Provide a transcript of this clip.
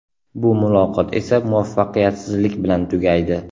Bu muloqot esa muvaffaqiyatsizlik bilan tugaydi.